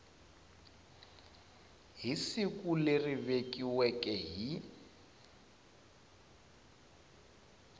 hi siku leri vekiweke hi